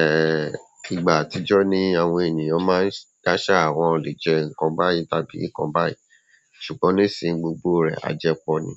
Ẹ, ìgbà àtijọ́ ni àwọn ènìyàn máa ń dáṣà wọn ò lè jẹ nǹkan báyìí tàbí nǹkan báyìí. Ṣùgbọ́n nísìnyí, gbogbo rẹ̀, àjẹ pọ̀ ni.